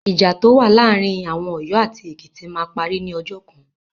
Ìjà tó wà láàárí àwọn Ọ̀yọ́ àti Ekìtì máa parí ní ọjọ́ kan.